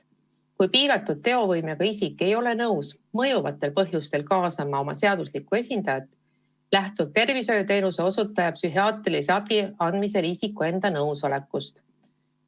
Kui piiratud teovõimega isik ei ole nõus mõjuvatel põhjustel kaasama oma seaduslikku esindajat, lähtub tervishoiuteenuse osutaja psühhiaatrilise abi andmisel isiku enda nõusolekust.